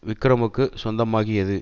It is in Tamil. விக்ரமுக்கு சொந்தமாகியது